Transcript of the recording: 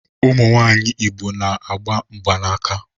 Ụmụ nwanyị Igbo na-agba mgbanaka